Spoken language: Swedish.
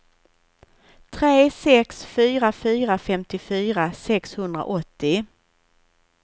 tre sex fyra fyra femtiofyra sexhundraåttio